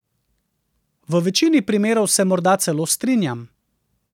V večini primerov se morda celo strinjam.